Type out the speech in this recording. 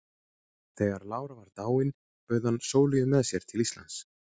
Þegar lára var dáin bauð hann Sóleyju með sér til Íslands.